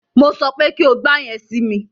Mo sọ pé kí o gba yẹn si mi!